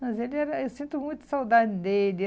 Mas ele era eu sinto muita saudade dele.